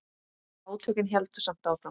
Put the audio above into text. Átökin héldu samt áfram.